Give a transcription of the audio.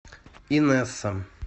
инесса